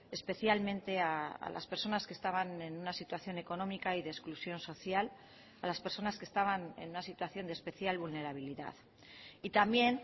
especialmente a las personas que estaban en una situación económica y de exclusión social a las personas que estaban en una situación de especial vulnerabilidad y también